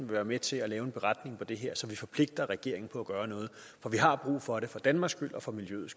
være med til at lave en beretning om det her så vi forpligter regeringen på at gøre noget for vi har brug for det for danmarks skyld og for miljøets